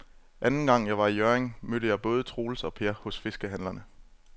Anden gang jeg var i Hjørring, mødte jeg både Troels og Per hos fiskehandlerne.